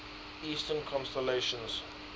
eastern constellations